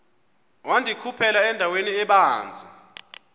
wandikhuphela endaweni ebanzi